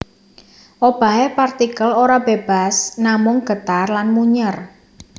Obahe partikel ora bebas namung getar lan munyèr